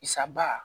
Isa ba